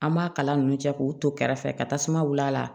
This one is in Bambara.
An b'a kala ninnu cɛ k'u to kɛrɛfɛ ka tasuma wuli a la